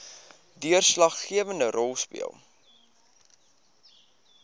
deurslaggewende rol speel